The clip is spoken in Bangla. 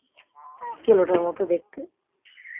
কেলোটার মতো দেখতে